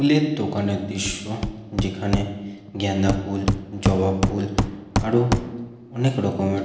ফুলের দোকানের দৃশ্য যেখানে গাঁদা ফুল জবা ফুল আরো অনেক রকমের--